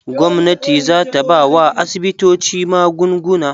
Gwamnati za ta bawa asibitoci magunguna.